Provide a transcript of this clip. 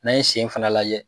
N'an ye sen fana lajɛ.